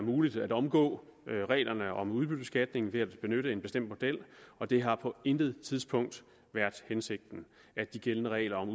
muligt at omgå reglerne om udbyttebeskatning ved at benytte en bestemt model og det har på intet tidspunkt været hensigten at de gældende regler om